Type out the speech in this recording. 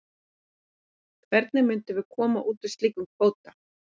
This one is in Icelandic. Hvernig myndum við koma út úr slíkum kvóta?